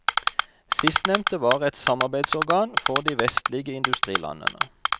Sistnevnte var et samarbeidsorgan for de vestlige industrilandene.